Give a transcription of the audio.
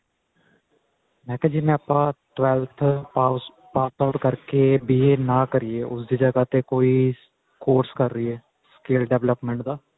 ਮੈਂ ਕਿਹਾ ਜਿਵੇਂ ਆਪਾਂ twelfth pass out ਕਰਕੇ B A ਨਾ ਕਰੀਏ ਉਸਦੀ ਜਗ੍ਹਾ ਤੇ ਕੋਈ course ਕਰ ਲੀਏ skill development ਦਾ